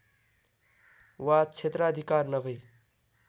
वा क्षेत्राधिकार नभर्इ